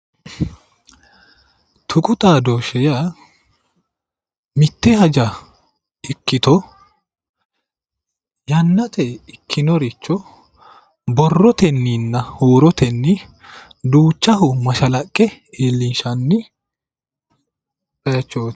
tuqu xaadooshshe yaa mitte haja ikkito ynnate ikkinoricho borrotenninna huurotenni duuchaho mashalaqqe iillinshanni bayiichooti.